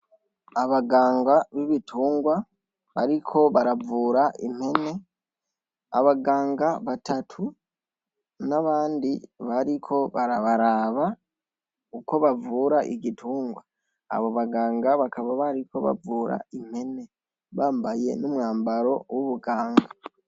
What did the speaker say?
Abaganga b'ibitungwa bariko baravura impene abaganga batatu n'abandi bariko barabaraba uko bavura igitungwa, abo baganga bakaba bariko bavur'impene, bambaye n'umwambaro w'ubuganga.